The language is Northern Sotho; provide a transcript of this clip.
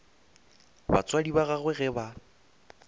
batswadi ba gagwe ge ba